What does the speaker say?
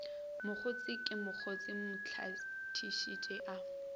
mokgotse ke mokgotse mlahlekisi a